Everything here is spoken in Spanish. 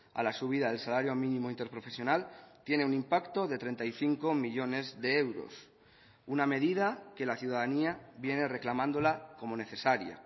a la subida del salario mínimo interprofesional tiene un impacto de treinta y cinco millónes de euros una medida que la ciudadanía viene reclamándola como necesaria